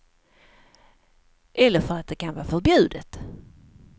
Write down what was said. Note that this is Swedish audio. Eller för att det kan vara förbjudet.